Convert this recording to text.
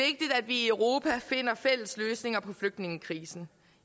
i europa finder fælles løsninger på flygtningekrisen